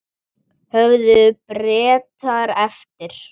Höfðu Bretar eftir